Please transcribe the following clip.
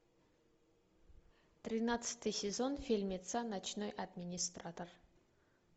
тринадцатый сезон фильмеца ночной администратор